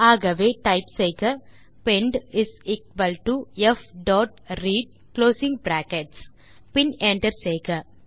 ஆகவே டைப் செய்க pend is equal to p dot read closing brackets பின் enter செய்க